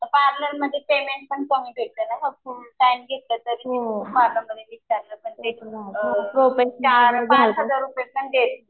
Parlour मध्ये payment पण चांगलं ना चार पाच हजार रुपये पण देतात.